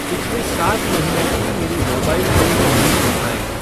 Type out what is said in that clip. पिछले सात महीनों की मेरी मोबाइल बिल रीडिंग दिखाएँ।